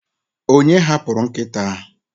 onye hapụrụ nkịta ahụ?